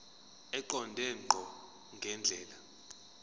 eqonde ngqo ngendlela